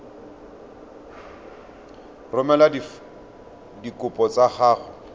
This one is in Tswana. ka romela dikopo tsa gago